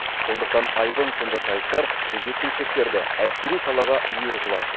сондықтан айбын сынды сайыстар жеткіншектерді әскери салаға үйір қылады